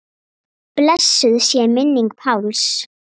Blessuð sé minning Páls.